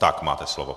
Tak máte slovo.